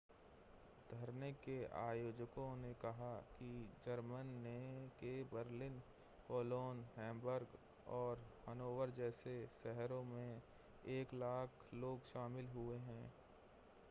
धरने के आयोजकों ने कहा कि जर्मन के बर्लिन कोलोन हैम्बर्ग और हनोवर जैसे शहरों में 100,000 लोग शामिल हुए हैं